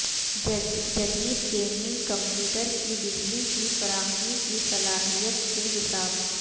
جدید gaming computer کی بجلی کی فراہمی کی صلاحیت کے حساب